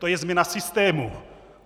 To je změna systému.